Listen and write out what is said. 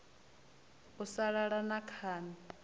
u sa lala na khani